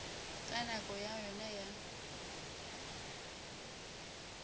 ka nako ya yona ya